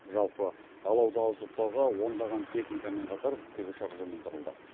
жалпы алауды ауыздықтауға ондаған техникамен қатар тікұшақ жұмылдырылды